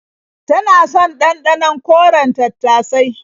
Tana son ɗanɗanon koren tattasai.